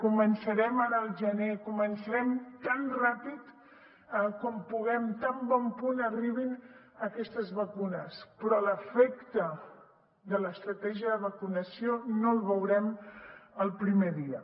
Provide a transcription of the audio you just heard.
començarem al gener començarem tan ràpid com puguem tan bon punt arribin aquestes vacunes però l’efecte de l’estratègia de vacunació no el veurem el primer dia